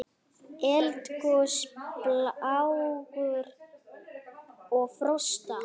Eldgos, plágur og frosta